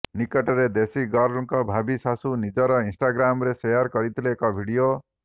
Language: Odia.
ନିକଟରେ ଦେଶୀଗର୍ଲଙ୍କର ଭାବି ଶାଶୁ ନିଜର ଇନ୍ଷ୍ଟାଗ୍ରାମରେ ସେୟାର କରିଥିଲେ ଏକ ଭିଡ଼ିଓ